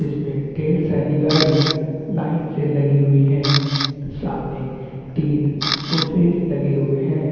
इसमे ढेर सारी गाड़ी लाइन पे लगी हुई है सामने तीन सोफ़े लगे हुए है ।